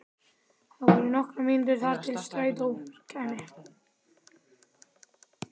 Það voru nokkrar mínútur þar til strætó kæmi.